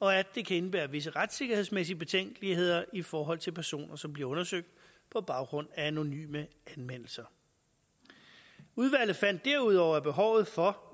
og at det kan indebære visse retssikkerhedsmæssige betænkeligheder i forhold til personer som bliver undersøgt på baggrund af anonyme anmeldelser udvalget fandt derudover at behovet for